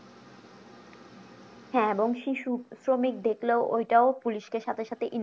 হ্যাঁ এবং শিশু শ্রমিক দেখলেও ওটাও police সাথে সাথে inform করা